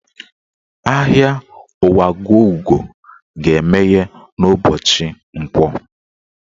Ahịa Nwagọugo ga-emeghe n'ụbọchị Nkwọ